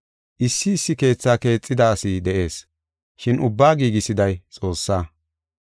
Issi issi keethaa keexida asi de7ees, shin ubbaa giigisiday Xoossaa.